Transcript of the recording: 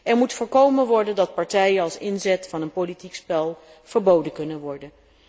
Er moet voorkomen worden dat partijen als inzet van een politiek spel verboden kunnen worden.